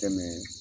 Tɛmɛ